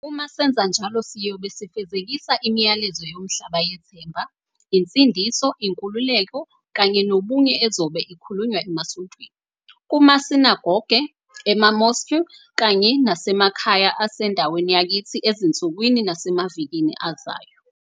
Uma senza njalo, siyobe sifezekisa imiyalezo yomhlaba yethemba, insindiso, inkululeko kanye nobunye ezobe ikhulunywa emasontweni, kumasinagoge, ema-mosque kanye nasemakhaya asendaweni yakithi ezinsukwini nasemavikini azayo.